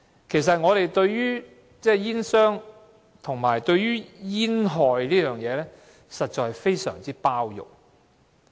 其實，我們對於煙草商和煙害的問題，實在非常包容。